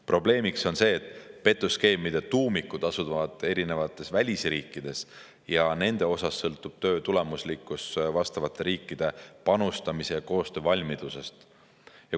Probleemiks on see, et petuskeemide tuumikud asuvad erinevates välisriikides ja nende puhul sõltub töö tulemuslikkus vastavate riikide panustamisest ja koostöövalmidusest.